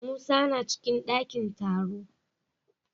Musa na cikin dakin taro.